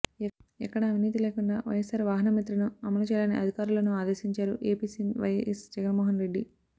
ఎక్కడా అవినీతి లేకుండా వైఎస్ఆర్ వాహనమిత్రను అమలు చేయాలని అధికారులను ఆదేశించారు ఏపీ సీఎం వైఎస్ జగన్మోహన్ రెడ్డి